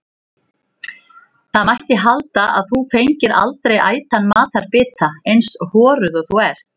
Það mætti halda að þú fengir aldrei ætan matarbita, eins horuð og þú ert.